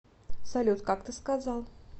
салют как ты сказал